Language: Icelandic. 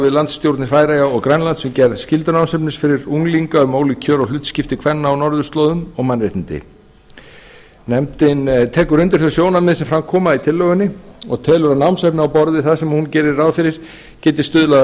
við landsstjórnir færeyja og grænlands um gerð skyldunámsefnis fyrir unglinga um ólík kjör og hlutskipti kvenna á norðurslóðum og mannréttindi nefndin tekur undir þau sjónarmið sem fram koma í tillögunni og telur að námsefni á borð við það sem hún gerir ráð fyrir geti stuðlað að